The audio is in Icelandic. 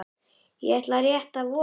Ég ætla rétt að vona það.